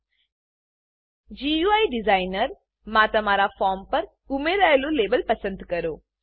GUI designer GUI designer માં તમારા form પર ઉમેરાયેલું લેબલ પસંદ કરો